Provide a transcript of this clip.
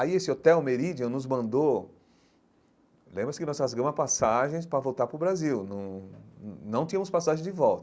Aí esse Hotel Meridian nos mandou... Lembra-se que nós rasgamos a passagem para voltar para o Brasil, não não não tínhamos passagem de volta.